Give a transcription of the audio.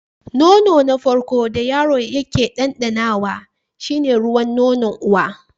Nono na farko da yaro yake ɗanɗanawa shi ne ruwan nonon uwa.